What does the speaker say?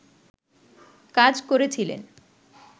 কাজ করছিলেন